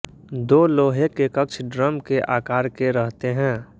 दो लोहे के कक्ष ड्रम के आकार के रहते हैं